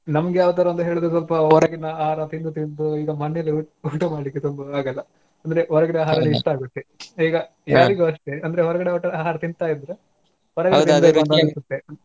ನಮ್ಗೆ ಯಾವ್ ತರಾ ಅಂದ್ರೆ ಸ್ವಲ್ಪ ಹೊರಗಿನ ಆಹಾರ ತಿಂದು ತಿಂದು ಈಗ ಮನೇಲಿ ಊಟ ಮಾಡ್ಲಿಕ್ಕೆ ತುಂಬಾ ಆಗಲ್ಲಾ ಅಂದ್ರೆ ಹೊರಗಿನ ಆಹಾರ ಅಷ್ಟೇ ಆಗುತ್ತೆ ಈಗ ಯಾರಿಗೂ ಅಷ್ಟೆ ಅಂದ್ರೆ ಹೊರಗಡೆ ಊಟ ಆಹಾರ ತಿಂತಾ ಇದ್ರೆ .